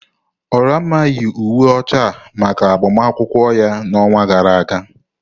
Olamma yi uwe ọcha a maka agbamakwụkwọ ya n'ọnwa gara aga.